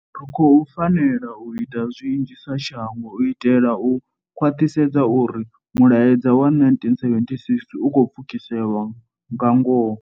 Ri khou fanela u ita zwinzhi sa shango u itela u khwaṱhisedza uri mulaedza wa 1976 u khou pfukiswa lwa ngoho.